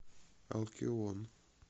алкион